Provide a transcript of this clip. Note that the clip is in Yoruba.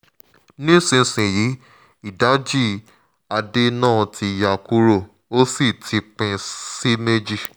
nísinsìnyí ìdajì adé náà ti ya kúrò ó sì ti pín sí méjì